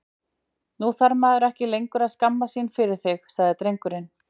Nú þarf maður ekki lengur að skammast sín fyrir þig, sagði drengurinn.